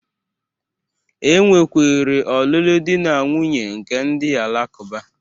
E nwekwere ọnụnụ di na nwuńye nke ndị Alakụba